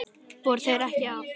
Voru þeir ekki að?